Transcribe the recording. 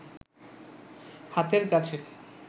হাতের কাছে